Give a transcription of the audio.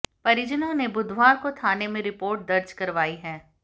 परिजनों ने बुधवार को थाने में रिपोर्ट दर्ज करवाई है